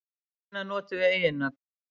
Hvenær notum við eiginnöfn?